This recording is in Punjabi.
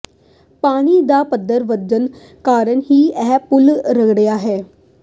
ਪਾਣੀ ਦਾ ਪੱਧਰ ਵਧਣ ਕਾਰਨ ਹੀ ਇਹ ਪੁਲ ਰੁੜ੍ਹਿਆ ਹੈ